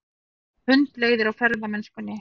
Hundleiðir á ferðamennskunni